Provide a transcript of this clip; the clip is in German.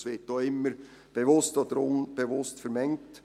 Dies wird auch immer – bewusst oder unbewusst – vermengt.